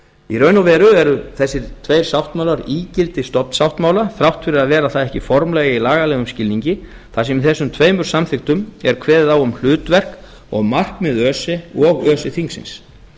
í raun og veru eru þessir tveir sáttmálar ígildi stofnsáttmála þrátt fyrir að vera það ekki formlega í lagalegum skilningi þar sem í þessum tveimur samþykktum er kveðið á um hlutverk og markmið öse og öse þingsins